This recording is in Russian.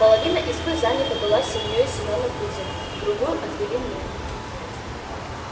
половина избы занята была семьёю семёна кузова другую отвели мне